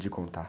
De contar.